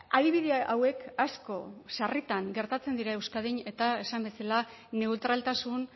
adibide hauek asko sarritan gertatzen dira euskadin eta esan bezala neutraltasun